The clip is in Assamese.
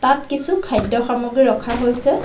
ইয়াত কিছু খাদ্য সামগ্ৰী ৰখা হৈছে।